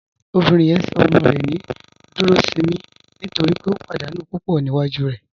Obìnrin yẹn sọ ọmọ rẹ ní Dúròṣìnmí nítorí pé ó pádànù púpọ́ níwájú rẹ.